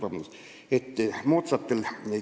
Palun!